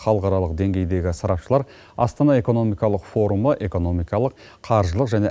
халықаралық деңгейдегі сарапшылар астана экономикалық форумға экономикалық қаржылық және